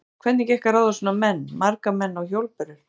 Hafþór: Hvernig gekk að ráða svona menn, marga menn á hjólbörur?